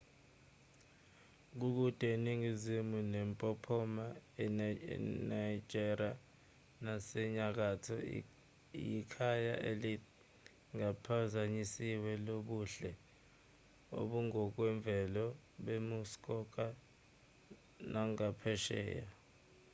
kude eningizimu nempophoma iniagara nasenyakatho yikhaya elingaphazanyisiwe lobuhle obungokwemvelo bemuskoka nagaphesheya